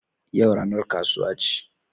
Yau ranar kasuwa ce